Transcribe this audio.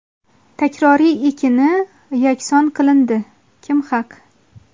takroriy ekini yakson qilindi: Kim haq?.